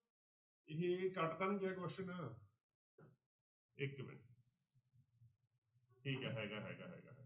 ਇਹ ਕੱਟ ਤਾਂ ਨੀ ਗਿਆ question ਇੱਕ ਮਿੰਟ ਠੀਕ ਹੈ ਹੈਗਾ ਹੈਗਾ ਹੈਗਾ।